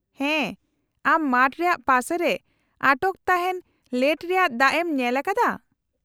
-ᱦᱮᱸ, ᱟᱢ ᱢᱟᱴᱷ ᱨᱮᱭᱟᱜ ᱯᱟᱥᱮ ᱨᱮ ᱟᱴᱚᱠ ᱛᱟᱦᱮᱱ ᱞᱮᱴ ᱨᱮᱭᱟᱜ ᱫᱟᱜ ᱮᱢ ᱧᱮᱞ ᱟᱠᱟᱫᱟ ?